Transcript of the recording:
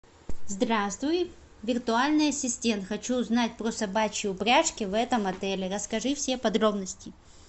здравствуй виртуальный ассистент хочу узнать про собачьи упряжки в этом отеле расскажи все подробности